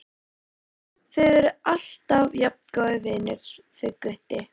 Þið eruð alltaf jafn góðir vinir þið Gutti?